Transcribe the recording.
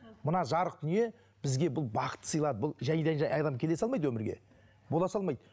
мына жарық дүние бізге бұл бақыт сыйлады бұл жайдан жай адам келе салмайды өмірге бола салмайды